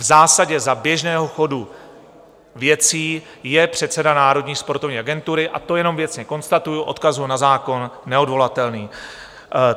V zásadě za běžného chodu věcí je předseda Národní sportovní agentury, a to jenom věcně konstatuji, odkazuji na zákon, neodvolatelný.